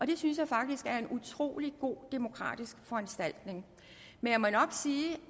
det synes jeg faktisk er en utrolig god demokratisk foranstaltning men jeg må nok sige